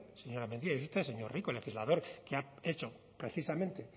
señora mendia y es usted señor rico el legislador que ha hecho precisamente